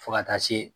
Fo ka taa se